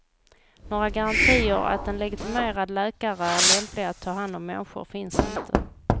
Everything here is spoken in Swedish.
Några garantier att en legitimerad läkare är lämplig att ta hand om människor finns inte.